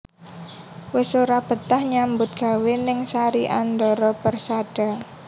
Wis ora betah nyambut gawe ning Sari Andara Persada